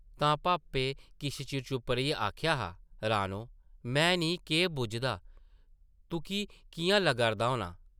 तां भापै किश चिर चुप्प रेहियै आखेआ हा, रानो, में निं केह् बुझदा तुक्की किʼयां लग्गा’रदा होना?